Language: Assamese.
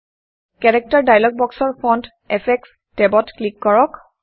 কেৰেক্টাৰ ডায়লগ বক্সৰ ফণ্ট এফেক্টছ্ টেবত ক্লিক কৰক